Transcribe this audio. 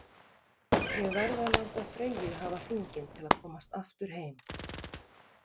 Ég verð að láta Freyju hafa hringinn til að komast aftur heim.